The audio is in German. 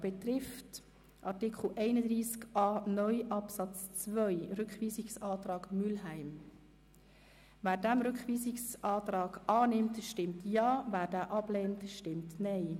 Wer den Rückweisungsantrag Mühlheim annehmen will, stimmt Ja, wer diesen ablehnt, stimmt Nein.